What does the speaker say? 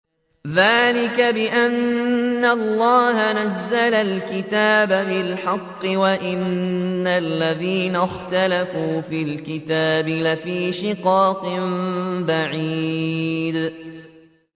ذَٰلِكَ بِأَنَّ اللَّهَ نَزَّلَ الْكِتَابَ بِالْحَقِّ ۗ وَإِنَّ الَّذِينَ اخْتَلَفُوا فِي الْكِتَابِ لَفِي شِقَاقٍ بَعِيدٍ